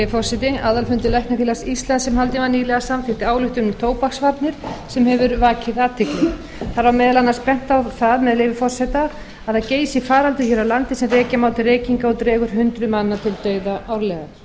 virðulegi forseti aðalfundur læknafélags íslands sem haldinn var nýlega samþykkti ályktun um tóbaksvarnir sem hefur vakið athygli þar var meðal annars bent á það með leyfi forseta að það geysi faraldur hér á landi sem rekja má til reykinga og dregur hundruð manna til dauða árlega